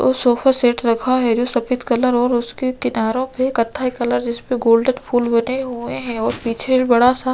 और sofa set रखा है जो सफ़ेद कलर और उसके किनारों पे कत्थाई कलर जिसपे गोल्डन फूल बने हुए है और पीछे बड़ा- सा --